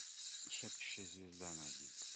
шепчущая звезда найди